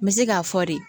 N bɛ se k'a fɔ de